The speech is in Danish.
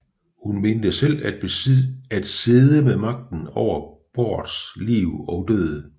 Hun mente selv at sidde med magten over Bårds liv og død